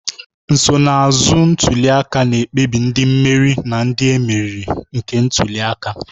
Nsonaazụ ntuli aka na-ekpebi ndị mmeri na ndị e meriri nke ntuli aka